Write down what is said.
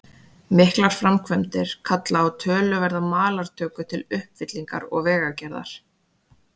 Miklar framkvæmdir kalla á töluverða malartöku til uppfyllingar og vegagerðar.